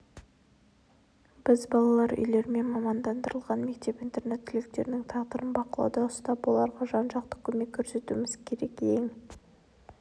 біз балалар үйлері мен мамандандырылған мектеп-интернат түлектерінің тағдырын бақылауда ұстап оларға жан-жақты көмек көрсетуіміз керек ең